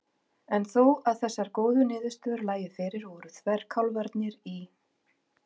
En þó að þessar góðu niðurstöður lægju fyrir voru þverkálfarnir í